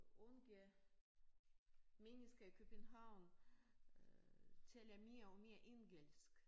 Unge mennesker i København øh taler mere og mere engelsk